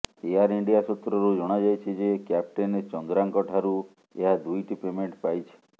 air India ସୂତ୍ରରୁ ଜଣାଯାଇଛି ଯେ କ୍ୟାପ୍ଟେନ ଚନ୍ଦ୍ରାଙ୍କଠାରୁ ଏହା ଦୁଇଟି ପେମେଣ୍ଟ ପାଇଛି